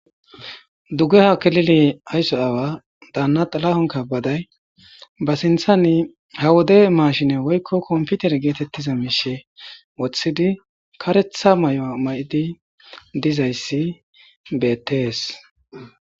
Dugge hakelili aysso aawa daanna xalahon kabaday ba sinthani ha wode maashine woykko komputer geetettiza miishe woththidi karetha may7o may7di dizayssi beettees